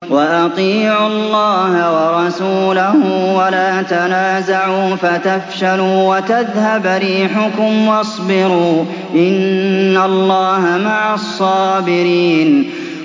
وَأَطِيعُوا اللَّهَ وَرَسُولَهُ وَلَا تَنَازَعُوا فَتَفْشَلُوا وَتَذْهَبَ رِيحُكُمْ ۖ وَاصْبِرُوا ۚ إِنَّ اللَّهَ مَعَ الصَّابِرِينَ